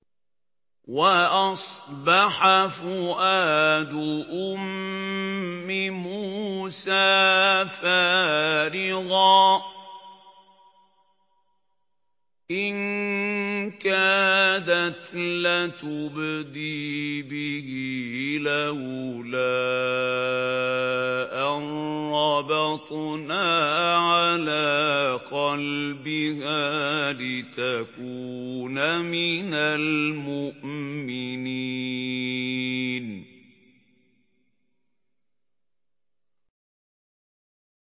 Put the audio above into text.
وَأَصْبَحَ فُؤَادُ أُمِّ مُوسَىٰ فَارِغًا ۖ إِن كَادَتْ لَتُبْدِي بِهِ لَوْلَا أَن رَّبَطْنَا عَلَىٰ قَلْبِهَا لِتَكُونَ مِنَ الْمُؤْمِنِينَ